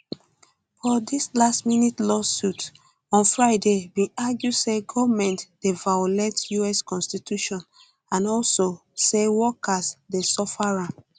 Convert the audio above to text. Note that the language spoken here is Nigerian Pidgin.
but dis lastminute lawsuit lastminute lawsuit on friday bin argue say goment um dey violate us um constitution and also say workers dey suffer harm